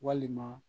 Walima